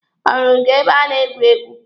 Ọ hụrụ gị ebe a na-egwu egwu?